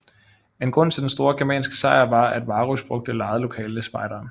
En grund til den store germanske sejr var at Varus brugte lejede lokale spejdere